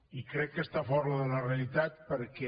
i crec que està fora de la realitat perquè